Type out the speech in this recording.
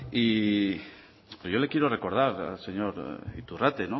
y pero yo le quiero recordar al señor iturrate el